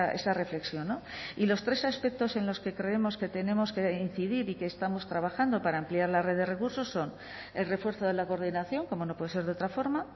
esa reflexión y los tres aspectos en los que creemos que tenemos que incidir y que estamos trabajando para ampliar la red de recursos son el refuerzo de la coordinación como no puede ser de otra forma